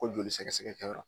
Ko joli sɛgɛsɛgɛkɛyɔrɔ